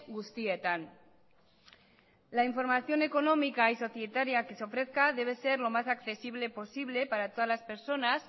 guztietan ere la información económica y societaria que se ofrezca debe ser lo más accesible posible para todas las personas